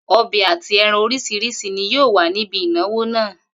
O̩bè àti e̩ran orís̩irís̩i ni yóò wà níbi ìnáwó náà